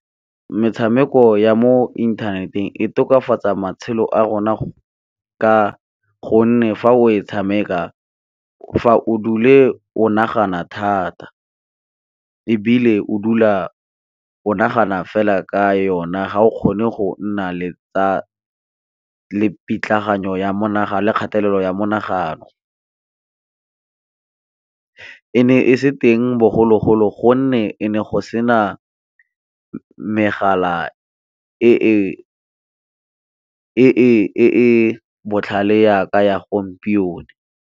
Metshameko ya mo inthaneteng e tokafatsa matshelo a rona gonne fa o e tshameka fa o dule o nagana thata, ebile o dula onagana fela ka yona ga o kgone go nna le pitlagano ya monagano le kgatelelo ya menagano. E ne e se teng bogologolo gonne e ne go sena megala e e botlhale jaaka ya gompieno.